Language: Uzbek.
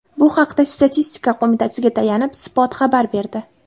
Bu haqda Statistika qo‘mitasiga tayanib, Spot xabar berdi .